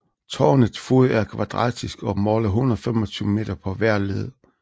Tårnets fod er kvadratisk og måler 125 meter på hver led